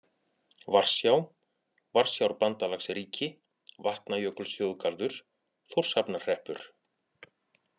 Varsjá, Varsjárbandalagsríki, Vatnajökulsþjóðgarður, Þórshafnarhreppur